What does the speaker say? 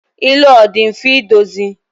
ilu a ọ dị mfe idozi?